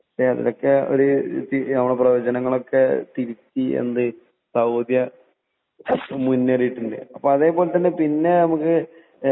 പക്ഷെ അതൊക്കെ പ്രവചങ്ങളൊക്കെ തിരുത്തി എന്ത് സൗദി മുന്നേറിയിട്ടുണ്ട് . പിന്നെ അതേപോലെതന്നെ പിന്നെ നമുക്ക്